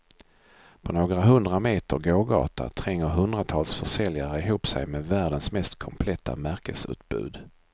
På några hundra meter gågata tränger hundratals försäljare ihop sig med världens mest kompletta märkesutbud.